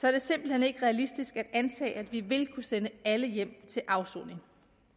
er det simpelt hen ikke realistisk at antage at vi vil kunne sende alle hjem til afsoning